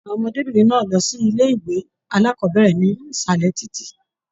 Àwọn ọmọdébinrin náà n lọ sí ilé ìwé alákọ̀bẹ̀rẹ̀ nísàlẹ̀ títí.